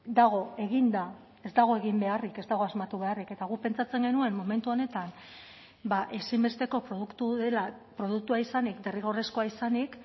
dago eginda ez dago egin beharrik ez dago asmatu beharrik eta guk pentsatzen genuen momentu honetan ezinbesteko produktu dela produktua izanik derrigorrezkoa izanik